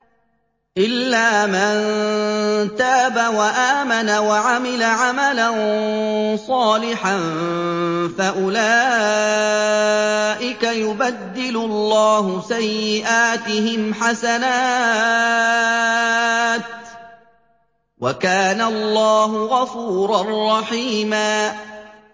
إِلَّا مَن تَابَ وَآمَنَ وَعَمِلَ عَمَلًا صَالِحًا فَأُولَٰئِكَ يُبَدِّلُ اللَّهُ سَيِّئَاتِهِمْ حَسَنَاتٍ ۗ وَكَانَ اللَّهُ غَفُورًا رَّحِيمًا